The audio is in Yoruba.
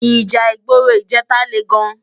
Íjà igbóró ijètá lé gán